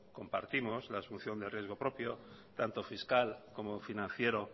compartimos la asunción de riesgo propio tanto fiscal como financiero